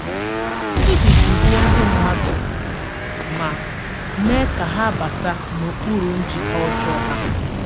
Ìji dǔhìè ndị mmàdù mà mèè ka hà bàtà n’okpùrù njìkà ọ̀jọọ ha!